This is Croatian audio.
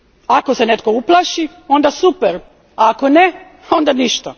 Ako se netko uplaši, onda super. A ako ne, onda ništa.